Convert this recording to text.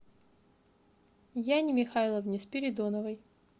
яне михайловне спиридоновой